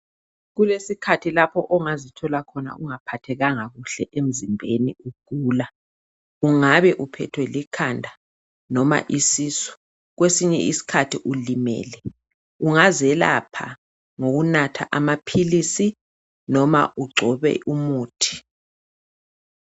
Kulesi khathi lapha ongazi thola khona ungaphathekanga kuhle emizibheni ugula ungabe uphethwe likhanda noma isisu kwesinye isikhathi ulimele ungaze lapha ngoku natha amaphilisi nome uncwobe umuthi